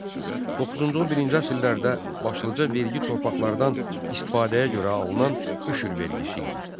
Doqquzuncu-on birinci əsrlərdə başlıca vergi torpaqlardan istifadəyə görə alınan üşür vergisi idi.